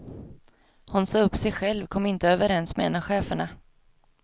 Hon sa upp sig själv, kom inte överens med en av cheferna.